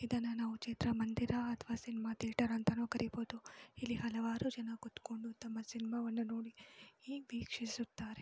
ಇದನ್ನ ನಾವು ಚಿತ್ರ ಮಂದಿರ ಅಥವಾ ಸಿನಿಮಾ ಥಿಯೇಟರ್ ಅಂತನು ಕರೀಬಹುದು. ಇಲ್ಲಿ ಹಲವಾರು ಜನ ಕುತ್ಕೊಂಡು ತಮ್ಮ ಸಿನೆಮಾವನ್ನು ನೋಡಿ ವೀಕ್ಷಿಸುತ್ತಾರೆ.